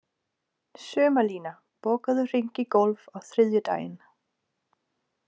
Sumarlína, bókaðu hring í golf á þriðjudaginn.